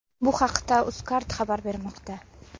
Bu haqda UzCard xabar bermoqda .